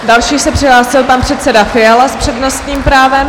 Další se přihlásil pan předseda Fiala s přednostním právem.